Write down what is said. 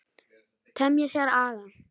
Temja sér aga.